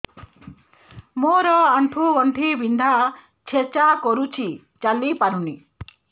ମୋର ଆଣ୍ଠୁ ଗଣ୍ଠି ବିନ୍ଧା ଛେଚା କରୁଛି ଚାଲି ପାରୁନି